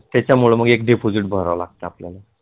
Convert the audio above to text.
त्याच्यामुळे मग एक deposit भरावे लागतंं आपल्याला.